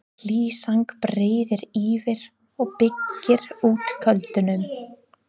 Hlý sæng breiðir yfir og byggir út kuldanum.